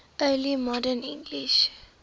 early modern english